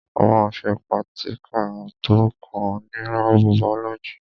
A ma ṣe prátíkà tó kàn ní lábù bàọ́lọ́gì.